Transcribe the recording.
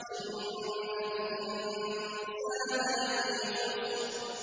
إِنَّ الْإِنسَانَ لَفِي خُسْرٍ